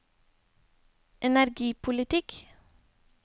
energipolitikk